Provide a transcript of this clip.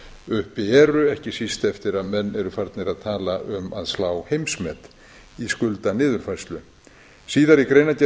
uppi eru ekki síst eftir að menn eru farnir að tala um að slá heimsmet í skuldaniðurfærslu síðar í greinargerðinni segir